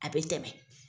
A bɛ tɛmɛ